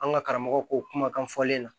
An ka karamɔgɔw ko kumakan fɔlen na